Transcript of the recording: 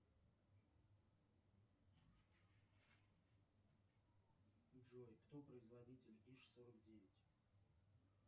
джой кто производитель иж сорок девять